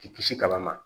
K'i kisi kala ma